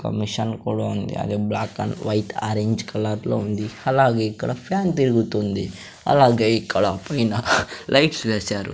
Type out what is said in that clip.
ఒక మిషన్ కూడా ఉంది అది black and white orange colour లో ఉంది అలాగే ఇక్కడ ఫ్యాన్ తిరుగుతుంది అలాగే ఇక్కడ పైన లైట్స్ వేశారు.